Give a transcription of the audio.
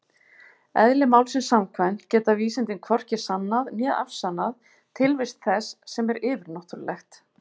Eðli málsins samkvæmt geta vísindin hvorki sannað né afsannað tilvist þess sem er yfirnáttúrulegt.